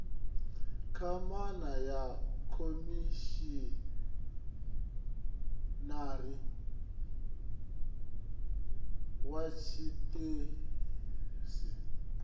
kwamana na khomishinari wa tshiṱitshi